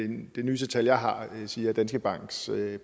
men det nyeste tal jeg har siger at danske banks